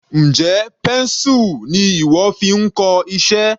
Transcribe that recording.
Njẹ́ pencil ni ìwọ fi ń kọ iṣẹ́?